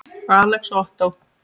Alex og Ottó.